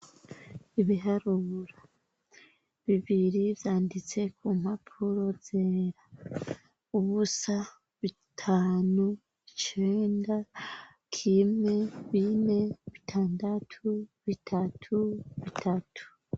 Ibiharuro bibiri bv.yanditse ku mpapuro zera ubusa bitanu icenda kimwe bine bitandatu bitatu bitatu